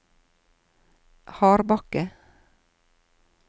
Hardbakke